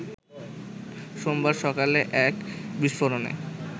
সোমবার সকালে এক বিস্ফোরণে